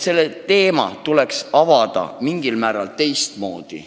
See küsimus tuleks seega lahendada mingil määral teistmoodi.